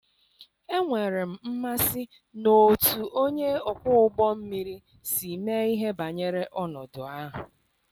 enwere m mmasị n'otú onye ọkwọ ụgbọ mmiri si mee ihe banyere ọnọdụ ahụ.